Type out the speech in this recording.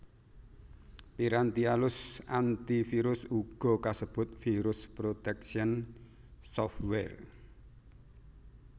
Piranti alus antivirus uga kasebut Virus protection software